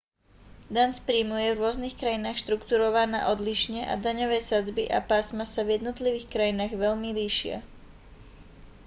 daň z príjmu je v rôznych krajinách štruktúrovaná odlišne a daňové sadzby a pásma sa v jednotlivých krajinách veľmi líšia